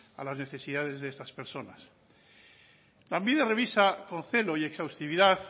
a las necesidades de estas personas lanbide revisa con celo y exhaustividad